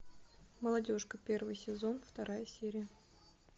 молодежка первый сезон вторая серия